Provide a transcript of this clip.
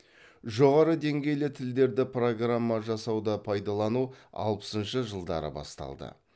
жоғары деңгейлі тілдерді программа жасауда пайдалану алпысыншы жылдары басталды